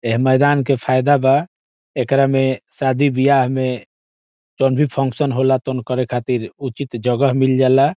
एह मैदान के फायदा बा एकरा में शादी ब्याह में जब भी फंक्शन होला ता करे खातिर उचित जगह मिल जाला।